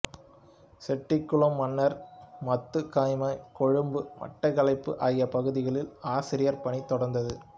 செட்டிக்குளம் மன்னார் மத்துகமை கொழும்பு மட்டக்களப்பு ஆகிய பகுதிகளில் ஆசிரியப்பணி தொடர்ந்தது